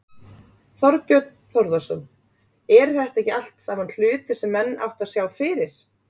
Þorbjörn Þórðarson: Eru þetta ekki allt saman hlutir sem menn áttu að sjá fyrir?